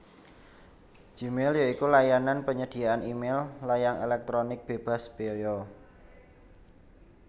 Gmail ya iku layanan penyediaan e mail layang éléktronik bébas béaya